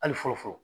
Hali fɔlɔ fɔlɔ